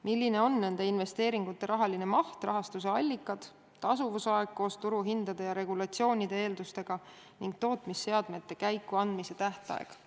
Milline on nende investeeringute rahaline maht, rahastuse allikad, tasuvusaeg koos turuhindade ja regulatsioonide eeldustega ning tootmisseadmete käikuandmise tähtaeg?